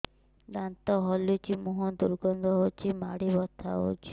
ଦାନ୍ତ ହଲୁଛି ମୁହଁ ଦୁର୍ଗନ୍ଧ ହଉଚି ମାଢି ବଥା ହଉଚି